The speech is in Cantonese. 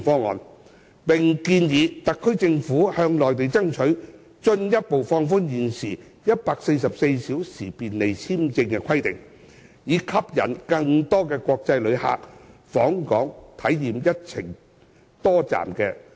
我們又建議特區政府向內地爭取進一步放寬現時144小時便利簽證的規定，以吸引更多國際旅客訪港，體驗一程多站的旅程。